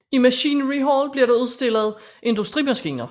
I Machinery Hall blev der udstillet Industrimaskiner